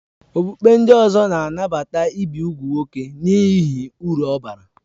Okpukpe ndị ọzọ ga-anabata ibi úgwù nwoke n'ihi uru ọ bara